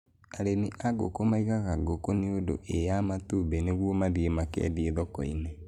Arĩmi a ngũkũ maigaga ngũkũ nĩundu ĩa matũmbe nĩguo mathiĩ makendia thoko-inĩ.